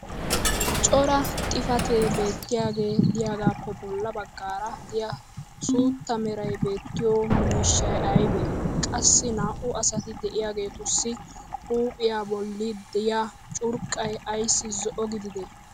Cora xifatee beettiyaage diyaagaappe bola bagaara diya suutta meray beetiyo miishshay aybee? Qassi naa"u asati diyaageetussi huuphiyaa boli diya curqqay ayssi zo"o gididee?